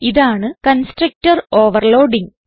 ഇതാണ് constructor overloading